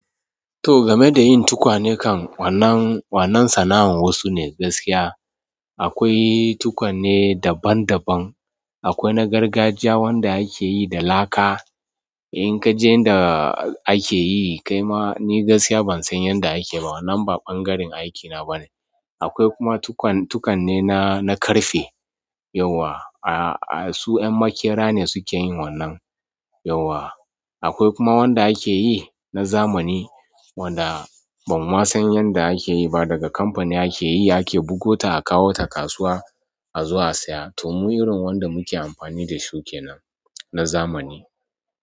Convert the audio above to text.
To game da yin tukwane kan wannan, wannan sana'ar wasu ne gaskiya. Akwai tukwane daban daban, akwai na gargajiya wanda akeyi da laka, inkaje inda akeyi kaima ni gaskiya bansan yanda akeyi ba wannan ba ɓangaren aikina bane. Akwai kuma tukan-tukanne na, na ƙarfe yauwa, a-a su 'yan maƙera ne sukeyin wannan yauwa. Akwai kuma wanda akeyi na zamani wadda banma san yanda akeyi ba daga kamfani akeyi, ake bugota akawo ta kasuwa a zo a saya. To mu irin wanda muke amfani da su kenan na zamani.